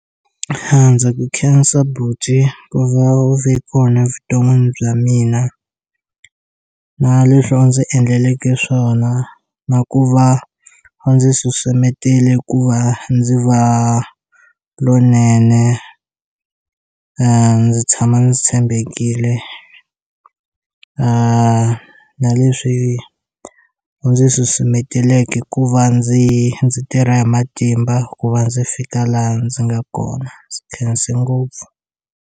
A ndzi ku khensa buti ku va u vhe kona vuton'wini bya mina na leswo ndzi endleleke swona na ku va a ndzi susumetele ku va ndzi va lonene ndzi tshama ndzi tshembekile na leswi u ndzi susumetelake ku va ndzi ndzi tirha hi matimba ku va ndzi fika laha ndzi nga kona ndzi khensa ngopfu.